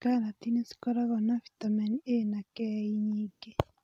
Karati nicikoragwo na bitameni A na K nyingĩ.